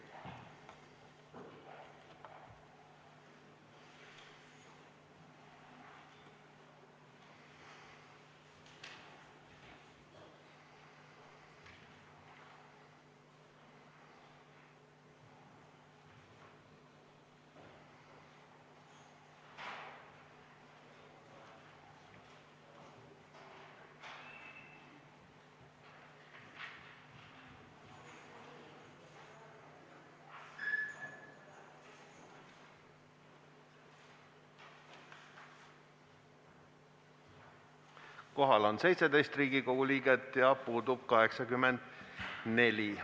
Kohaloleku kontroll Kohal on 17 Riigikogu liiget ja puudub 84.